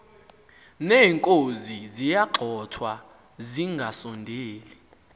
neenkozi ziyagxothwa zingasondeli